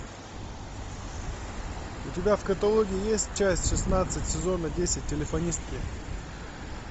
у тебя в каталоге есть часть шестнадцать сезона десять телефонистки